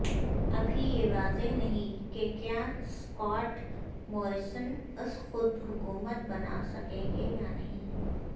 ابھی یہ واضع نہیں کہ کیا اسکاٹ موریسن از خودحکومت بنا سکیں گے یا نہیں